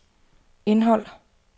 indhold